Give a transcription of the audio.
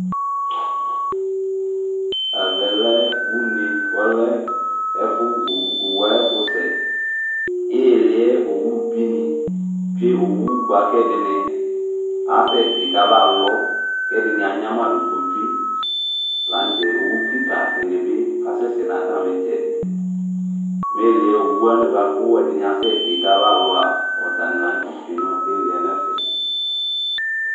ɛʋɛlɛ ʊne owʊaƴɛƒʊsɛ ɩhɩlɩɛ owʊ ɓɩnɩ tsʊe ɛɗɩnɩƙasɛtɩ ƙaɓalɔ ɛɗɩnɩa ƴnamaɗʊ ƙɔtsʊe lanʊtɛ owʊƙɩƙa ɗɩnɩɓɩ ƙasɛsɛ nʊ atamɩtsɛɗɩ owʊwanɩ ƙaƙasɛsɛtɩ ƙaɓalʊa atanɩlanʊtɛ tsʊe nʊ ɩhɩlɩɛ nɛƒɛ